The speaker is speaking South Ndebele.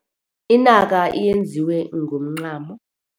Inaka yenziwe ngomncamo.